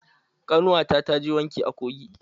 Ƙannuwa ta taje wanki a kogi.